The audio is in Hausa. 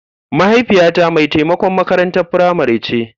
mahaifiyata mai taimakon makarantar firamare ce.